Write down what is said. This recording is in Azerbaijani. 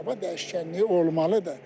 Hava dəyişkənliyi olmalıdır.